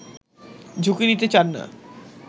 ঝুঁকি নিতে চান না